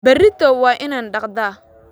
Berrito waa inaan dhaqdaa